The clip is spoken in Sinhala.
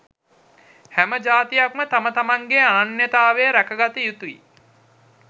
හැම ජාතියක්ම තම තමන්ගේ අනන්‍යතාව රැකගත යුතුයි.